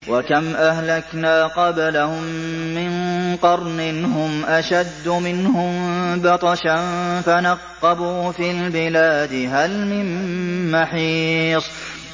وَكَمْ أَهْلَكْنَا قَبْلَهُم مِّن قَرْنٍ هُمْ أَشَدُّ مِنْهُم بَطْشًا فَنَقَّبُوا فِي الْبِلَادِ هَلْ مِن مَّحِيصٍ